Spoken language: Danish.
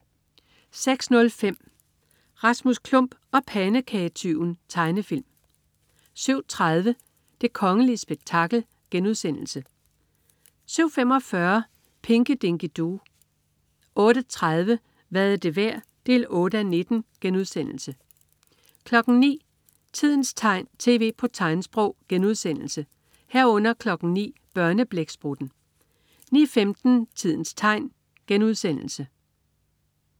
06.05 Rasmus Klump og pandekagetyven. Tegnefilm 07.30 Det kongelige spektakel* 07.45 Pinky Dinky Doo 08.30 Hvad er det værd? 8:19* 09.00 Tidens tegn, tv på tegnsprog* 09.00 Børneblæksprutten* 09.15 Tidens tegn*